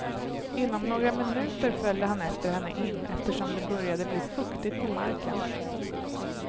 Inom några minuter följde han efter henne in, eftersom det började bli fuktigt på marken.